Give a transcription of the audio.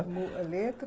a letra?